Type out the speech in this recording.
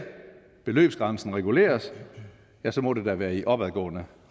beløbsgrænsen reguleres ja så må det da være i opadgående